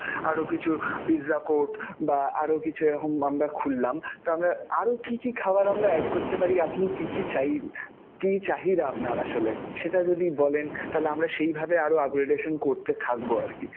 আরও কিছু pizza court বা আরো কিছু এখন আমরা খুললাম. তো আমরা আরও কী কী খাবার আমরা add করতে পারি? আপনি কী কী চাই~ কী চাহিদা আপনার আসলে? সেটা যদি বলেন, তাহলে আমরা সেইভাবেই আরও upgradation করতে থাকবো আর কি.